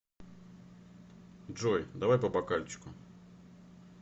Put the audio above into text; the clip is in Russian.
джой давай по бокальчику